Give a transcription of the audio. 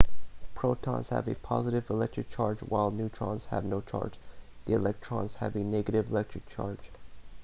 protons have a positive electric charge while neutrons have no charge the electrons have a negative electric charge